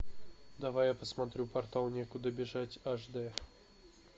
давай я посмотрю портал некуда бежать аш д